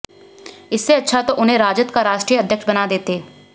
इससे अच्छा तो उन्हें राजद का राष्ट्रीय अध्यक्ष बना देते